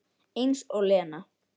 Eins og Lena!